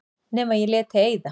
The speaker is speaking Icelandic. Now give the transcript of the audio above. Nema ég léti eyða.